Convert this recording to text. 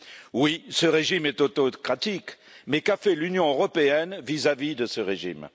Oui, ce régime est autocratique, mais qu'a fait l'Union européenne vis à vis de ce régime?